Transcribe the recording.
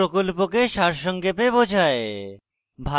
এটি প্রকল্পকে সারসংক্ষেপে বোঝায়